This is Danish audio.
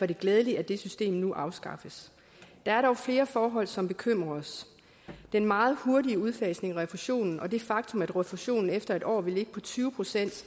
det glædeligt at det system nu afskaffes der er dog flere forhold som bekymrer os den meget hurtige udfasning af refusionen og det faktum at refusionen efter en år vil ligge på tyve